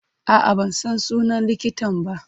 A'a, ban san sunan likitan ba.